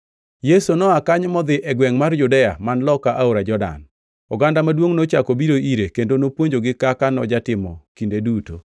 Yesu noa kanyo modhi e gwengʼ mar Judea man loka aora Jordan. Oganda maduongʼ nochako obiro ire, kendo nopuonjogi kaka nojatimo kinde duto.